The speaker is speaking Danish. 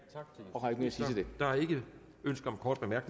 og har ikke